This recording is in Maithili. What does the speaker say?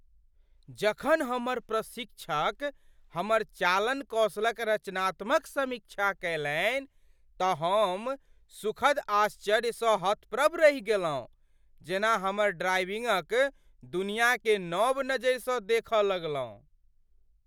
जखन हमर प्रशिक्षक हमर चालन कौशल क रचनात्मक समीक्षा कयलनि तँ हम सुखद आश्चर्य सँ हतप्रभ रहि गेलहुँ। जेना हमर ड्राइविंगक दुनियाकेँ नब नजरि स देख लगलहुँ ।